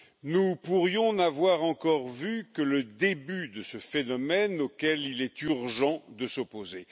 Nous pourrions n'avoir encore vu que le début de ce phénomène, auquel il est urgent de s'opposer.